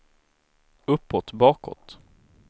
uppåt bakåt